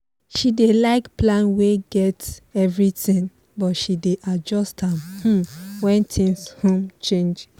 she dey like plan wey get everything but she dey adjust am um when things um change